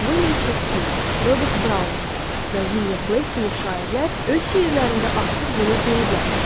William Şekspir, Robert Browning və William Blake kimi şairlər öz şeirlərində artıq bunu deyiblərmiş.